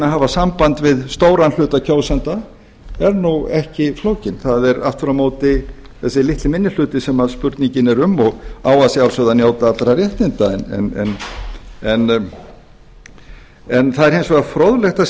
hafa samband við stóran hluta kjósenda er því ekki flókinn það er aftur á móti þessi litli minni hluti sem spurningin er um og á að sjálfsögðu að njóta allra réttinda það er hins vegar fróðlegt að sjá af því að